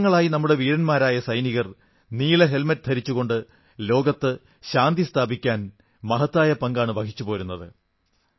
ദശകങ്ങളായി നമ്മുടെ വീരന്മാരായ സൈനികർ നീല ഹെൽമറ്റ് ധരിച്ചുകൊണ്ട് ലോകത്ത് ശാന്തി സ്ഥാപിക്കാൻ മഹത്തായ പങ്കാണ് വഹിച്ചുപോരുന്നത്